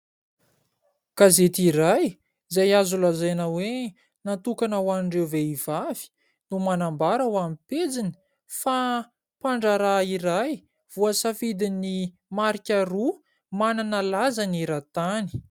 Gazety iray, izay azo lazaina hoe natokana ho an'ireo vehivavy, no manambara ao amin'ny pejiny fa mpandraraha iray voasafidin'ny marika roa manana laza eran-tany.